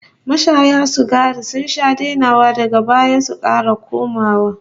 Mashaya sigari sun sha dainawa daga baya su kara komawa